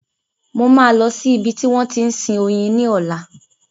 Mo máa lọ sí ibi tí wọ́n ti ń sin oyin lọ́la.